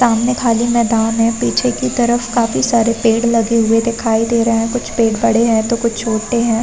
सामने खाली मैदान है पीछे की तरफ काफी सारे पेड़ लगे हुए दिखाई दे रहे है कुछ पेड़ बड़े है तो कुछ छोटे है ।